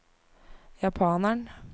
japaneren